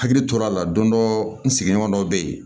Hakili tora a la don dɔ n sigiɲɔgɔn dɔ bɛ yen